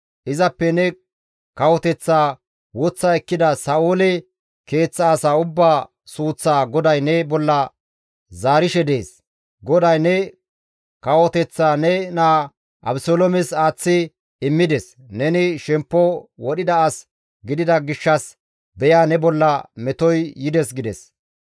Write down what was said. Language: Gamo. Izappe ne kawoteththaa woththa ekkida Sa7oole keeththa asaa ubbaa suuththaa GODAY ne bolla zaarishe dees. GODAY ne kawoteththaa ne naa Abeseloomes aaththi immides; neni shemppo wodhida as gidida gishshas beya ne bolla metoy yides» gides.